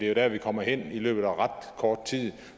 er der vi kommer hen i løbet af kort tid og